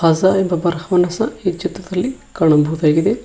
ಹೊಸ ಇಬ್ಬೀಬ್ಬರ ಹೋನಸ ಈ ಚಿತ್ರದಲ್ಲಿ ಕಾಣಬಹುದಾಗಿದೆ.